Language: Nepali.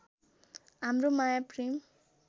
हाम्रो माया प्रेम